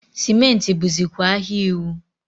sịmentị bụzịkwa ahịa iwu.